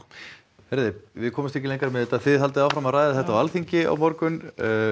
heyriði við komumst ekki lengra með þetta þið haldið áfram að ræða þetta á Alþingi á morgun